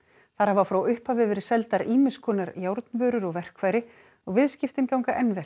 þar hafa frá upphafi verið seldar ýmiss konar járnvörur og verkfæri og viðskiptin ganga enn vel